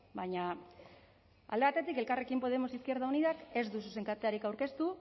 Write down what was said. baina alde batetik elkarrekin podemos izquierda unidak ez du zuzenketarik aurkeztu